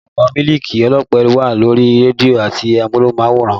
Ìpolówó mílìkì ọlọ́pẹ wà lórí rédíò àti amóhùnmáwòrán